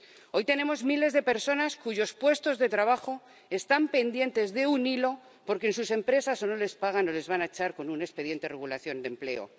Hoy tenemos miles de personas cuyos puestos de trabajo están pendientes de un hilo porque en sus empresas, o no les pagan, o les van a echar con un expediente de regulación de empleo.